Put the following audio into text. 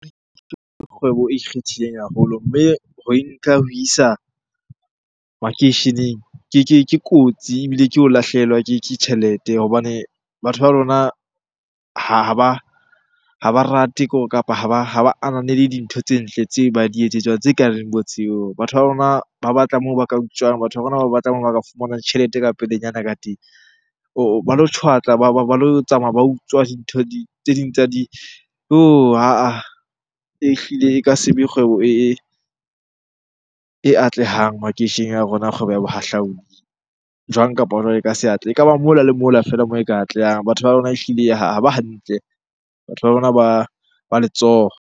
Kgwebo e ikgethileng haholo mme ho e nka ho isa makeisheneng ke kotsi ebile ke ho lahlehelwa ke tjhelete. Hobane batho ba lona ha ba rate kore, kapa ha ba ananele dintho tse ntle tse ba di etsetswang, tse kareng bo tseo. Batho ba rona ba batla moo ba ka utswang, batho ba rona ba moo ba ka fumana tjhelete ka pelenyana ka teng or ba lo tjhwatlwa ba lo tsamaya ba utswa dintho tse ding tsa . Yoh! ha-ah, ehlile e ka se be kgwebo e atlehang makeisheneng a rona kgwebo ya bohahlaudi. Jwang kapa jwang e ka se atlehe. Ekaba mola le mola feela moo e ka atlehang, batho ba lona ehlile ha ba hantle. Batho ba lona ba letsoho.